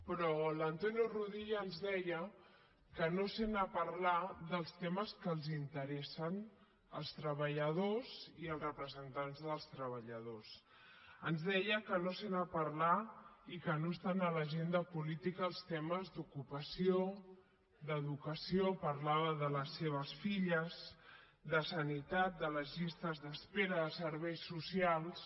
però l’antonio rudilla ens deia que no sent a parlar dels temes que els interessen als treballadors i als representants dels treballadors ens deia que no sent a parlar i que no estan a l’agenda política els temes d’ocupació d’educació parlava de les seves filles de sanitat de les llistes d’espera de serveis socials